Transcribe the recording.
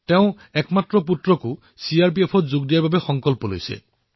তেওঁ নিজৰ একমাত্ৰ পুত্ৰকো চিআৰপিএফৰ জোৱানত ভৰ্তি কৰিবলৈ প্ৰতিজ্ঞা কৰিছে